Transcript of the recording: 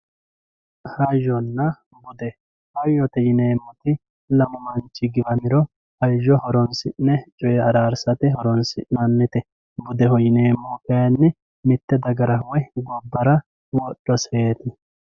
Hayona bude hayote yineemoti lamu manchi giwamiro hayo horonsi'ne coye araarisate horonisin'anite budeho yineemohu kayinni mite dagara woyi gobara wodhoseeti